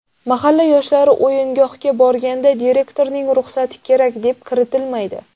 Mahalla yoshlari o‘yingohga borganda direktorning ruxsati kerak, deb kiritilmaydi.